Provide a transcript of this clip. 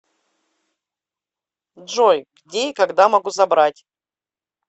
джой где и когда могу забрать